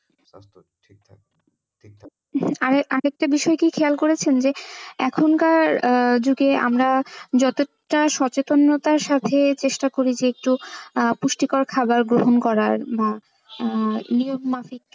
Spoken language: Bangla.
আর একটা বিষয় কি খেয়াল করেছেন যে এখনকার যুগে আমরা যতটা সচেতনতার সাথে চেষ্টা করি যে একটু আহ পুষ্টিকর খাওয়ার গ্রহন করার বা আহ নিয়ম মাফিক,